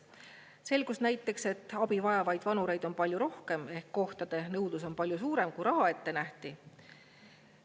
Selgus näiteks, et abi vajavaid vanureid on palju rohkem ehk kohtade nõudlus on palju suurem, kui raha ette nähti.